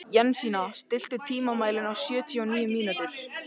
Jensína, stilltu tímamælinn á sjötíu og níu mínútur.